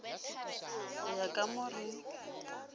go ya ka mo re